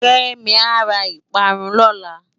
Kemi á rá ipárùn lòlá